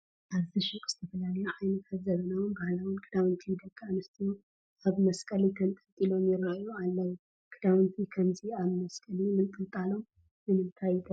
ኣብዚ ሹቕ ዝተፈላለዩ ዓይነታት ዘመናውን ባህላውን ክዳውንቲ ደቂ ኣንስትዮ ኣብ መስቀሊ ተንጠልጢሎም ይርአዩ ኣለዉ፡፡ ክዳውንቲ ከምዚ ኣብ መስቀሊ ምንጥልጣሎም ንምንታይ ይጠቅም?